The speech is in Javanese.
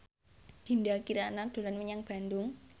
Dinda Kirana dolan menyang Bandung